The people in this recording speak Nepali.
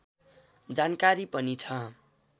जानकारी पनि छ